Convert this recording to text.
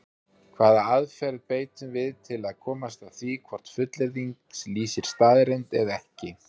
Hvaða aðferð beitum við til að komast að því hvort fullyrðing lýsir staðreynd eða ekki?